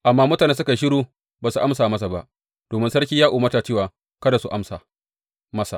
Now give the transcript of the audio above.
Amma mutane suka yi shiru ba su amsa masa ba, domin sarki ya umarta cewa, Kada ku amsa masa.